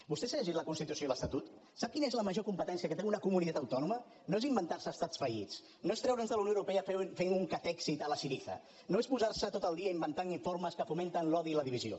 vostè s’ha llegit la constitució i l’estatut sap quina és la major competència que té una comunitat autònoma no és inventarse estats fallits no és treure’ns de la unió europea fent un catexit a la syriza no és posarse tot el dia inventant informes que fomenten l’odi i la divisió